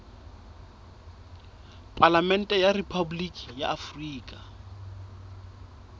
palamente ya rephaboliki ya afrika